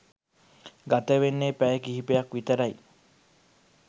ගතවෙන්නෙ පැය කිහිපයක් විතරයි